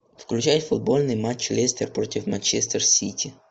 включай футбольный матч лестер против манчестер сити